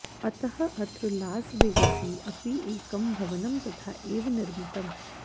अतः अत्र लासवेगसि अपि एकं भवनं तथा एव निर्मितम्